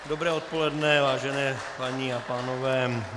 Dobré odpoledne, vážení paní a pánové.